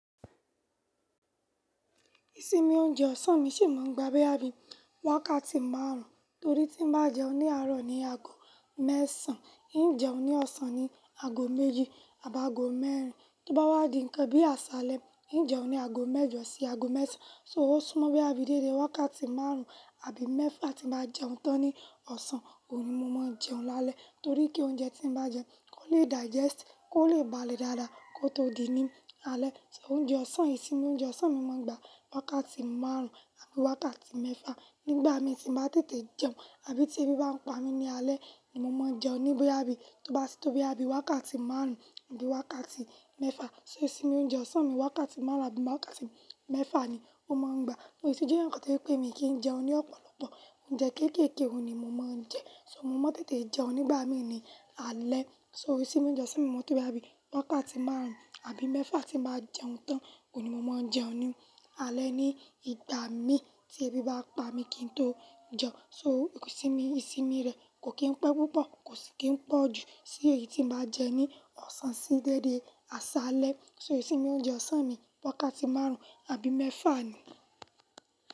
Isinmi oúnjẹ ọ̀sán mi sì máa ń gba bí i wákàtí márùn-ún, torí tí bá jẹun ní àárọ̀ ni aago mẹ́sàn-án, yín jẹun ní ọ̀sán ni aago méjì tàbí aago mẹ́rin. Bí ó bá wá di nǹkan bí àsálẹ́, yín jẹun ní aago mẹ́jọ sí aago mẹ́sàn-án. So ó súnmọ́ bí i abídéde wákàtí márùn-ún àbí mẹ́fà tí bá jẹun tán ní ọ̀sán, oún ni mo máa jẹun lálẹ́, torí kí oúnjẹ tí mo bá jẹ kó lè digest, kó lè balẹ̀ dáadáa kó tó di ní alẹ́. So oúnjẹ ọ̀sán, ìsinmi oúnjẹ ọ̀sán mi máa gba wákàtí márùn-ún àbí wákàtí mẹ́fà. Nígbà mi tí mo bá tètè jẹun àbí tí ebi bá ń pa mi ní alẹ́ ni mo máa jẹun ní bí i wákàtí márùn-ún àbí wákàtí mẹ́fà. So ìsinmi oúnjẹ ọ̀sán mi wákàtí márùn-ún àbí wákàtí mẹ́fà ni ó máa ń gba. Ó sì jẹ́ nǹkan tó pé mi kì í jẹun ní ọ̀pọ̀lọpọ̀, oúnjẹ kéékèèké ni mo máa ń jẹ. So mo máa ń tètè jẹun nígbà mi ní alẹ́. So ìsinmi oúnjẹ ọ̀sán mi máa tó bí i wákàtí márùn-ún àbí mẹ́fà tí mo bá jẹun tán, ko ni mo máa jẹun ní alẹ́ ní ìgbà mi tí ebi bá pa mi kí n tó jẹun. So ìsinmi rẹ̀ kò kí n pẹ́ púpọ̀, kò sì kí ń pọ̀ ju tí èyí tí mo bá jẹ ní ọ̀sán sí déédé àsálẹ́. So ìsinmi oúnjẹ ọ̀sán mi wákàtí márùn-ún àbí mẹ́fà ni.